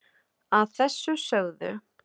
að þessu sögðu